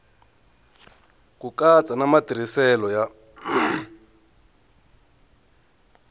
ku katsa na matirhiselo ya